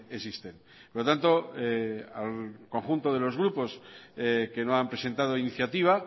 existen por lo tanto al conjunto de los grupos que no han presentado iniciativa